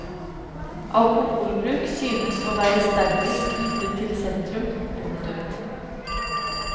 Alkoholbruk synes å være sterkest knyttet til sentrum. punktum